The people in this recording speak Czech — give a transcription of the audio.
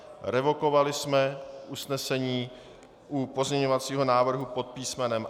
Revokovali jsme usnesení u pozměňovacího návrhu pod písm.